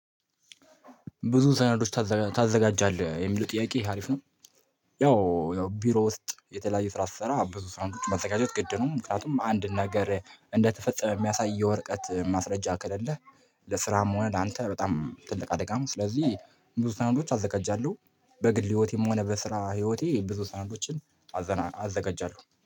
ብዙ ሰነዶች ታዘጋጃለህ? የሚለው ጥያቄ አሪፍ ነው ያው ያው ቢሮ ውስጥ የተለያዩ ስራ ስሰራ ብዙ ሰነዶችን ማዘጋጀት ግድ ነው ምክንያቱም አንድ ነገር እንደተፈጸመ የሚያሳይ የወረቀት ማስረጃ ከሌለህ ለስራም ሆነ ላንተ በጣም ትልቅ አደጋ ነው። ስለዚህ ብዙ ሰዓት አዘጋጃለሁ በግል ህይወቴም ሆነ በስራ ህይወቴ ብዙ ሰነዶችን አዘና አዘጋጃለሁ